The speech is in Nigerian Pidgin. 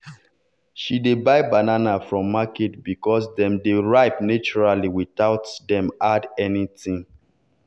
she dey buy banana from market because dem dey ripe naturally without dem add anything.